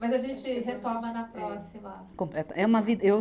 Mas a gente retoma na próxima. é uma vi eu